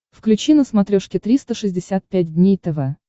включи на смотрешке триста шестьдесят пять дней тв